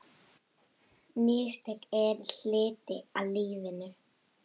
Mistök eru hluti af lífinu.